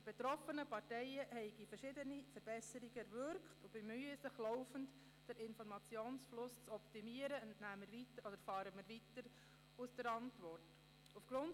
Die betroffenen Parteien hätten verschiedene Verbesserungen erwirkt und bemühten sich laufend, den Informationsfluss zu optimieren, erfahren wir aus der Antwort des Regierungsrats.